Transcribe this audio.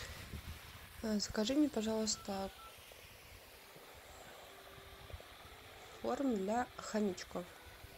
закажи мне пожалуйста корм для хомячков